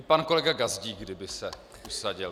I pan kolega Gazdík, kdyby se usadil.